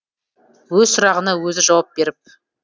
өз сұрағына өзі жауап беріп